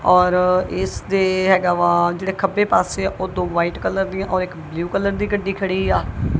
ਔਰ ਇਸ ਦੇ ਹੈਗਾ ਵਾ ਜਿਹੜਾ ਖੱਬੇ ਪਾਸੇ ਆਪਾ ਦੋ ਵਾਈਟ ਕਲਰ ਦੀਆਂ ਔਰ ਇੱਕ ਬਲੂ ਕਲਰ ਦੀ ਗੱਡੀ ਖੜੀ ਆ।